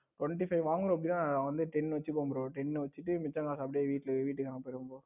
twenty five வாங்குறோம் இல்ல அதுல ten வச்சுப்போம் bro ten வச்சுக்கிட்டு மிச்ச காஸ் அப்படியே வீட்டுக்கு அனுப்பிருவோம் bro.